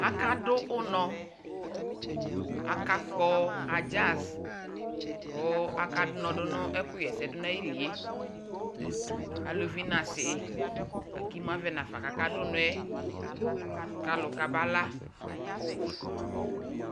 aka dʋ ʋnɔ, aka kpɔ ajax kʋ akadʋnɔ dʋnʋ ɛkʋ yɛsɛ dʋnʋ ayiliɛ, alʋvi nʋ asii, lakʋ imʋ avɛ nʋ aƒã kʋ aka dʋnɔɛ kalʋ kabala